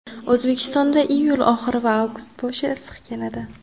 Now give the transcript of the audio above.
O‘zbekistonda iyul oxiri va avgust boshi issiq keladi.